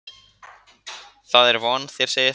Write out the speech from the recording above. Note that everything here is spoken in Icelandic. Það er von þér segið það.